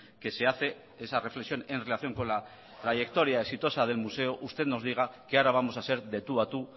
que se hace esa reflexión en relación con la trayectoria exitosa del museo usted nos diga que ahora vamos a ser de tú a tú